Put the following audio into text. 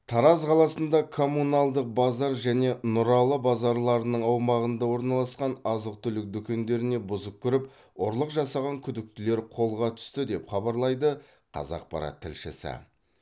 тараз қаласында коммуналдық базар және нұралы базарларының аумағында орналасқан азық түлік дүкендеріне бұзып кіріп ұрлық жасаған күдіктілер қолға түсті деп хабарлайды қазақпарат тілшісі